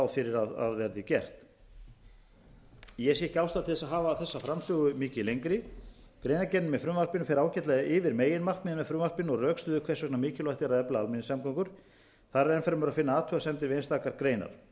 ráð fyrir að verði gert ég sé ekki ástæðu til að hafa þessa framsögu mikið lengri greinargerð með frumvarpinu fer ágætlega yfir meginmarkmiðin með frumvarpinu og rökstyður hvers vegna mikilvægt er að efla almenningssamgöngur þar er enn fremur að finna athugasemdir við einstakar greinar þetta frumvarp er